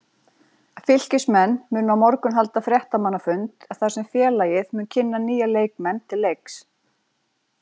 Fylkismenn munu á morgun halda fréttamannafund þar sem félagið mun kynna nýja leikmenn til leiks.